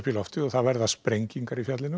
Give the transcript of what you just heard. í loftið og það verða sprengingar í fjallinu